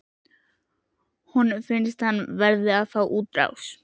Honum finnst hann verða að fá útrás.